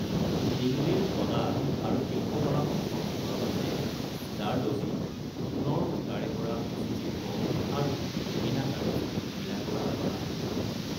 দিল্লীৰ কলা আৰু শিল্পকলাসমূহৰ ভিতৰত আছে জাৰদোজী - সোণৰ সূতাৰে কৰা সুঁচীশিল্প আৰু মীনাকাৰী - মীনাকৰাৰ কলা।